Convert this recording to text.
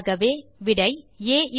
ஆகவே ஆ மற்றும் ப் 20